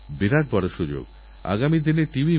এইভাবে তাঁরারেলস্টেশনটিকে সম্পূর্ণ নতুন এক রূপ দিয়েছেন